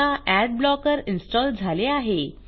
आता ad blocker install झाले आहे